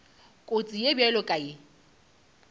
kotsi ye bjalo ka ye